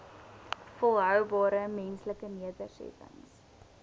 volhoubare menslike nedersettings